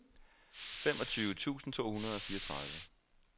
femogtyve tusind to hundrede og fireogtredive